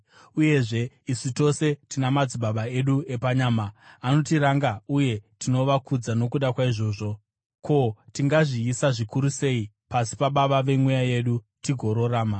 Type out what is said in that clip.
Uyezve, isu tose tina madzibaba edu epanyama anotiranga uye tinovakudza nokuda kwaizvozvo. Ko, tingazviisa zvikuru sei pasi paBaba vemweya yedu tigorarama!